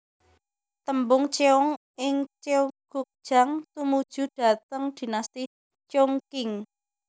Tembung cheong ing cheonggukjang tumuju dhateng Dinasti Cheong Qing